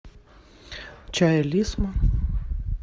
чай лисма